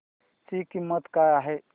ची किंमत काय आहे